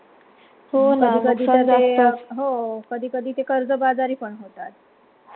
हो न हो कधी कधी ते कर्जबाजारीपण होतात